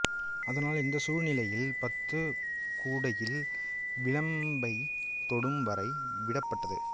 அதனால் இந்த சூழ்நிலையில் பந்து கூடையில் விளிம்பைத் தொடும் வரை விடப்பட்டது